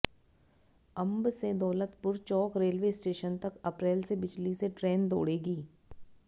अंब से Daulatpur Chowk railway station तक अप्रैल से बिजली से ट्रेन दौड़ेगी